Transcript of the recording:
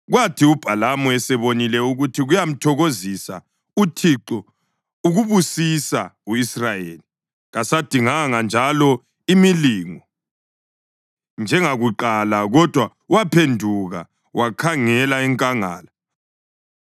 Kwathi uBhalamu esebonile ukuthi kuyamthokozisa uThixo ukubusisa u-Israyeli, kasadinganga njalo imilingo njengakuqala, kodwa waphenduka wakhangela enkangala.